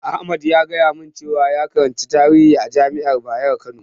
Ahmad ya faɗa min cewa ya karanci tarihi a jami'ar Bayero Kano.